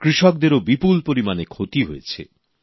কৃষকদেরও বিপুল পরিমাণে ক্ষতি হয়েছে